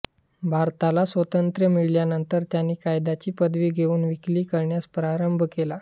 भारताला स्वातंत्र्य मिळाल्यानंतर त्यांनी कायद्याची पदवी घेऊन वकिली करण्यास प्रारंभ केला